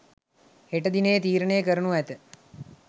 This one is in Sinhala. හෙට දිනයේ තීරණය කරනු ඇත.